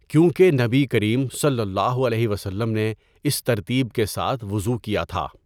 کیونکہ نبی کریم صلی اللہ علیہ وسلم نے اس ترتیب کے ساتھ وضوء کیا تھا۔